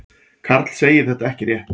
Karl segir þetta ekki rétt.